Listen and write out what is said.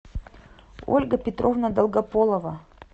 ольга петровна долгополова